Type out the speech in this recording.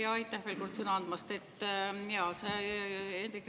Jaa, aitäh veel kord sõna andmast!